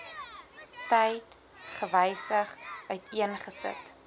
tyd gewysig uiteengesit